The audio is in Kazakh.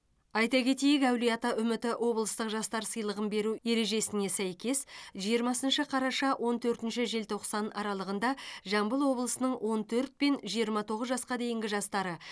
айта кетейік әулиеата үміті облыстық жастар сыйлығын беру ережесіне сәйкес жиырмасыншы қараша он төртінші желтоқсан аралығында жамбыл облысының он төрт пен жиырма тоғыз жасқа дейінгі жастары